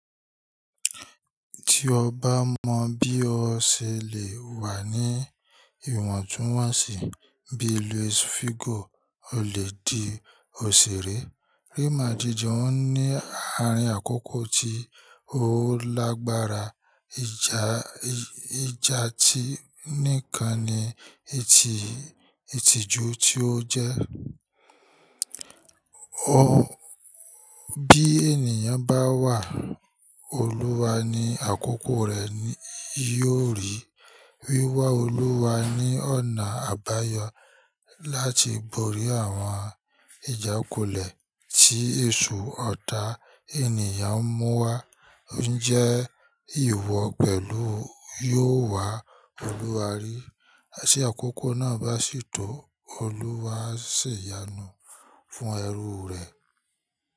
Tí ọ bá mọ bí o ṣe lè wà ní ìwọ̀ntúnwọ̀nsì bí luis figò, o lè di òṣèré. Rí i máa díje, ó ní àárín àkókò tí o lágbára. Íjà tí nìkan ni ìtìjú tí ó jẹ́. Bí ènìyàn bá wà, Olúwa ní àkókò rẹ yóò rí. Wíwá Olúwa ní ọ̀nà àbáyọ láti borí àwọn ìjákulẹ̀ tí èsu ọ̀tá ènìyàn ń mú wá. Ǹjẹ́ ìwọ pẹ̀lú yóò wá Olúwa rí? Tí àkókò náà bá sì tó, Olúwa sì yanu fún ẹrú rẹ.